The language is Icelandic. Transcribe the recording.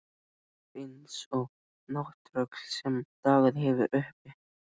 Situr eins og nátttröll sem dagað hefur uppi.